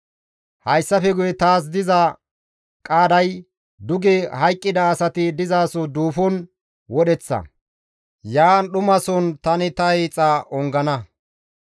Hayssafe guye taas diza qaaday duge hayqqida asati dizaso duufon wodheththa; yaan dhumason tani ta hiixa ongana.